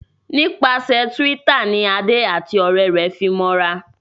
Nípasẹ Twitter ní Ade àti òré rẹ fe fí mọ ra